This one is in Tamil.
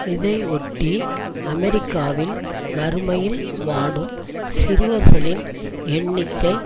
இதையொட்டி அமெரிக்காவில் வறுமையில் வாடும் சிறுவர்களின் எண்ணிக்கை